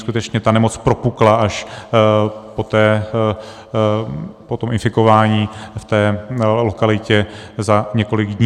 Skutečně ta nemoc propukla až po tom infikování v té lokalitě za několik dní.